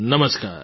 નમસ્કાર